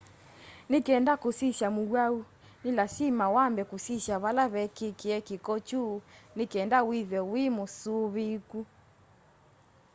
nĩ kenda kũsĩsya mũwaũ nĩ lasĩma wambe kũsĩsya vala vekĩkĩe kĩko kyũ nĩ kenda wĩthwe wĩmũsũvĩĩkũ